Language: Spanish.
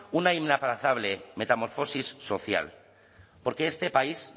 una inaplazable metamorfosis social porque este país